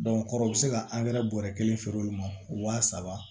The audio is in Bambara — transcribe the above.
kɔrɔ bi se ka bɔrɛ kelen feere olu ma waa saba